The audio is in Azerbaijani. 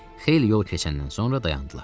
Xeyli yol keçəndən sonra dayandılar.